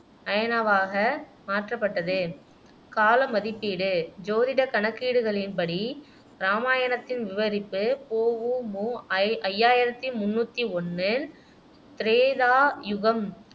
அயனாவாக மாற்றப்பட்டது காலம் மதிப்பீடு ஜோதிட கணக்கீடுகளின்படி ராமாயணத்தின் விவரிப்பு பொ ஊ மு ஐ ஐயாயிரத்தி முன்னூத்தி ஒண்ணில் திரேதா யுகம்